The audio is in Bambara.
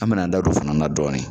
An mɛn'an da don o fana na dɔɔni.